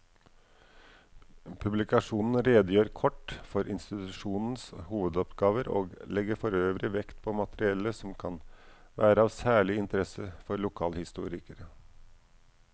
Publikasjonen redegjør kort for institusjonenes hovedoppgaver og legger forøvrig vekt på materiale som kan være av særlig interesse for lokalhistorikere.